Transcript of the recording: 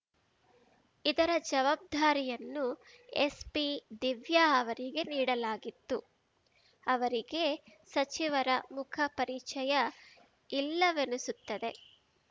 ಇದರ ಜವಾಬ್ದಾರಿಯನ್ನು ಎಸ್‌ಪಿ ದಿವ್ಯಾ ಅವರಿಗೆ ನೀಡಲಾಗಿತ್ತು ಅವರಿಗೆ ಸಚಿವರ ಮುಖ ಪರಿಚಯ ಇಲ್ಲವೆನಿಸುತ್ತದೆ